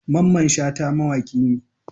Mamman Shata mawaki ne.